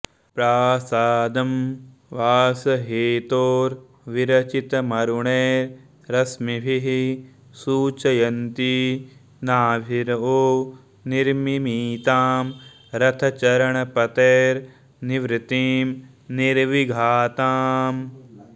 प्रासादं वासहेतोर्विरचितमरुणै रश्मिभिः सूचयन्ती नाभिर्वो निर्मिमीतां रथचरणपतेर्निवृतिं निर्विघाताम्